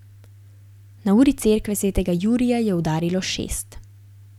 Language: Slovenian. Na uri cerkve svetega Jurija je udarilo šest.